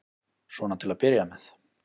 Svona til að byrja með.